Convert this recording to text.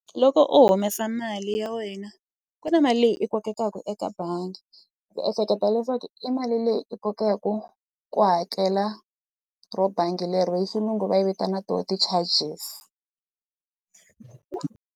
Loko u humesa mali ya wena ku na mali leyi i kokekaka bangi ndzi ehleketa leswaku i mali leyi i kokaku ku hakela ro bangi lero i xilungu va yi vitana to ti-charges.